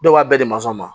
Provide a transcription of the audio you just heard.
Dɔw b'a bɛɛ di masɔnw ma